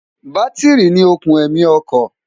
bátírì ni òkùn ẹ̀mí ọkọ̀